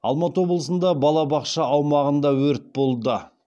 алматы облысында балабақша аумағында өрт болды